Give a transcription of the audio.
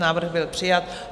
Návrh byl přijat.